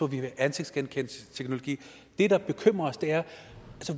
vi have ansigtsgenkendelsesteknologi det der bekymrer os er